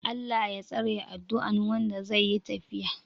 "Allah Ya tsare" adduan Wanda zai yi tafiya